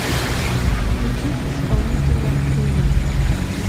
включи исполнителя гривина